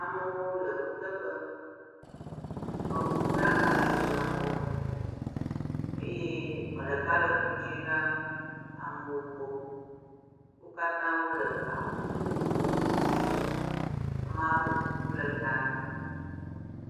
Amewo le kuteƒe. Mekukuɖaka le woƒe akɔ me eye me ɖeka le klo dzi raa amewo gbɔ. Wo katã wole awu vovovowo me. Amea ɖewo kuku le ta na wo.